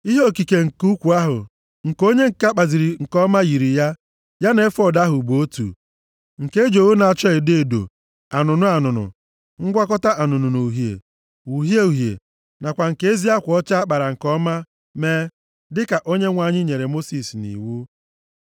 Ihe okike nke ukwu ahụ, nke onye ǹka kpaziri nke ọma yiri ya, ya na efọọd ahụ bụ otu, nke e ji ogho na-acha edo edo, anụnụ anụnụ, ngwakọta anụnụ na uhie na uhie uhie nakwa nke ezi akwa ọcha a kpara nke ọma mee, dịka Onyenwe anyị nyere Mosis nʼiwu.